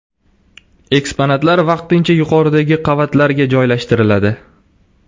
Eksponatlar vaqtincha yuqoridagi qavatlarga joylashtiriladi.